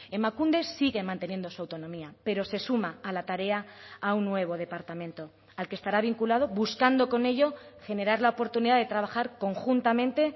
emakunde sigue manteniendo su autonomía pero se suma a la tarea a un nuevo departamento al que estará vinculado buscando con ello generar la oportunidad de trabajar conjuntamente